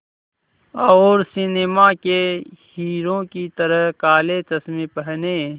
और सिनेमा के हीरो की तरह काले चश्मे पहने